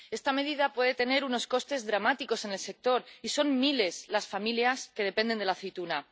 Esta medida puede tener unos costes dramáticos en el sector y son miles las familias que dependen de la aceituna.